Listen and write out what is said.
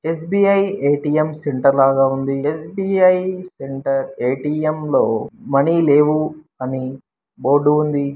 Yes_ B _I A_ T _M centre లాగా ఉంది S_ B _I A_ T _M లో money లేవు అని బోర్డు ఉంది.